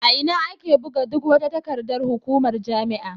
A ina ake buga duk wata takardar hukumar jami'a?